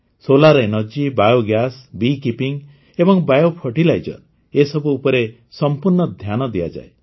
solar energy biogas bee keeping ଏବଂ bio fertiliser ଏସବୁ ଉପରେ ସମ୍ପୂର୍ଣ୍ଣ ଧ୍ୟାନ ଦିଆଯାଏ